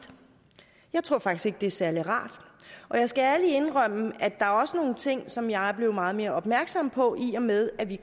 jeg tror faktisk det er særlig rart og jeg skal ærligt indrømme at der også er nogle ting som jeg er blevet meget mere opmærksom på i og med at vi